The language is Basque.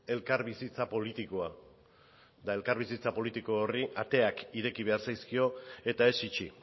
elkarbizitza politikoa eta elkarbizitza politiko horri ateak ireki behar zaizkio eta ez itxi